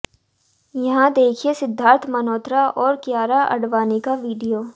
यहां देखिए सिद्धार्थ मल्होत्रा और कियारा आडवाणी का वीडियो